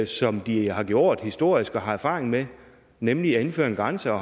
som de har gjort historisk og har erfaring med nemlig at indføre en grænse og